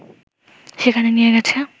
সেখানে নিয়ে গেছে